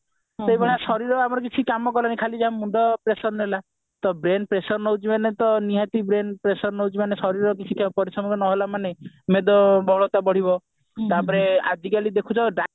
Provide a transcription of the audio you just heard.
ସେଭଳିଆ ଶରୀର ଆମର କିଛି କାମ କଲା ନି ଖାଲି ଯାହା ମୁଣ୍ଡ pressure ନେଲା ତ brain pressure ନେଉଛି ମାନେ ତ ନିହାତି brain pressure ନଉଛି ମାନେ ଶରୀର କିଛି ପରିଶ୍ରମ ନ ହେଲା ମାନେ ମେଦବହୁଳତା ବଢିବ ତାପରେ ଆଜିକାଲି ଦେଖୁଛ